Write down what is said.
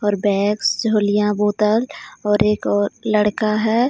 और बेग्स जोलिया बोतल और एक और लड़का है.